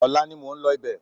Ọ̀la ni mò ń lọ ibẹ̀